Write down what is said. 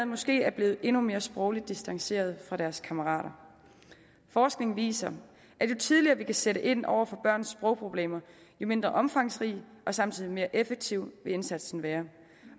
måske blevet endnu mere sprogligt distanceret fra deres kammerater forskning viser at jo tidligere vi kan sætte ind over for børns sprogproblemer jo mindre omfangsrig og samtidig mere effektiv vil indsatsen være